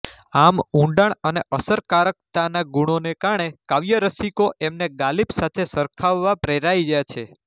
આમ ઊંડાણ અને અસરકારકતાના ગુણોને કારણે કાવ્યરસિકો એમને ગાલિબ સાથે સરખાવવા પ્રેરાયા છે